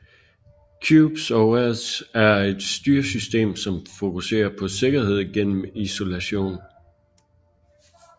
Qubes OS er et styresystem som fokuserer på sikkerhed gennem isolation